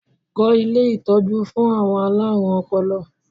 Kọ́ ilé ìtọ́jú fún àwọn alárùn ọpọlọ!